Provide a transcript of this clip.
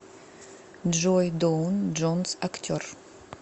джой доун джонс актер